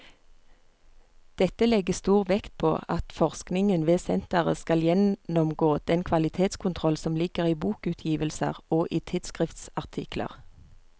Dette legges stor vekt på at forskningen ved senteret skal gjennomgå den kvalitetskontroll som ligger i bokutgivelser og i tidsskriftsartikler.